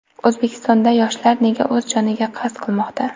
O‘zbekistonda yoshlar nega o‘z joniga qasd qilmoqda?.